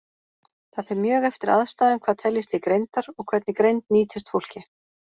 Það fer mjög eftir aðstæðum hvað teljist til greindar, og hvernig greind nýtist fólki.